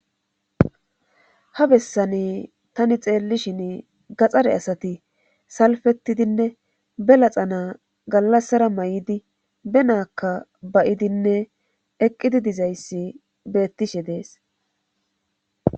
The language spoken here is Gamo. Ha bessani tani xeellishin gaxxare asati salfettidinne be laxana gallassara may7idi be na7akka bayidinne eqqidi dizayssi beettishe dees.